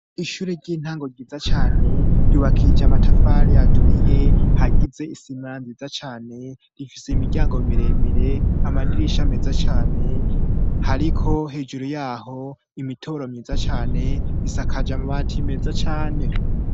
Ishure ry'intango ryiza cane ryubakija amatafari yaturiye hagize isina nziza cane rifise imiryango miremire amadirisha meza cyane hariko hejuru yaho imitoro myiza cyane isakaja mu bati meza cane.